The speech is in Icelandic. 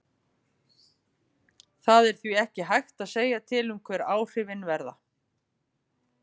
Það er því ekki hægt að segja til um hver áhrifin verða.